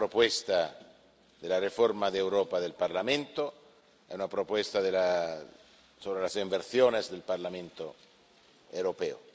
Es una propuesta de la reforma de Europa del Parlamento, una propuesta sobre las inversiones del Parlamento Europeo.